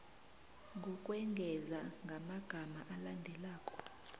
ngokwengeza ngamagama alandelako